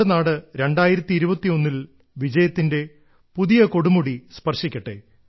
നമ്മുടെ നാട് 2021 ൽ വിജയത്തിന്റെ പുതിയ കൊടുമുടി സ്പർശിക്കട്ടെ